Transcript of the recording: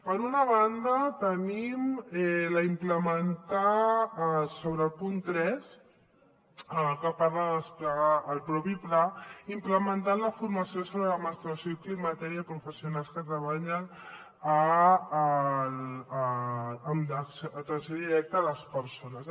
per una banda tenim sobre el punt tres que parla de desplegar el propi pla implementar la formació sobre la menstruació i el climateri a professionals que treballen en l’atenció directa a les persones